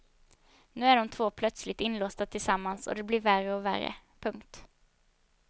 Nu är de två plötsligt inlåsta tillsammans och det blir värre och värre. punkt